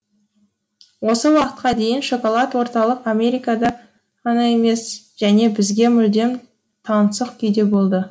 осы уақытқа дейін шоколад орталық америкада ғана емес және бізге мүлдем таңсық күйде болды